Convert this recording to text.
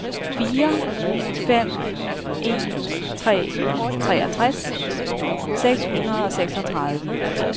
fire fem en tre treogtres seks hundrede og seksogtredive